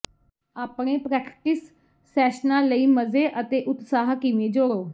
ਆਪਣੇ ਪ੍ਰੈਕਟਿਸ ਸੈਸ਼ਨਾਂ ਲਈ ਮਜ਼ੇ ਅਤੇ ਉਤਸਾਹ ਕਿਵੇਂ ਜੋੜੋ